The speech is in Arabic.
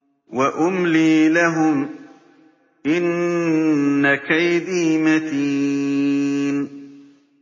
وَأُمْلِي لَهُمْ ۚ إِنَّ كَيْدِي مَتِينٌ